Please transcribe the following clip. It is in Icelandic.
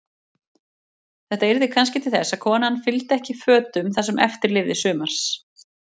Þetta yrði kannski til þess að konan fylgdi ekki fötum það sem eftir lifði sumars.